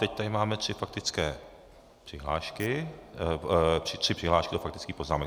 Teď tady máme tři faktické přihlášky, tři přihlášky do faktických poznámek.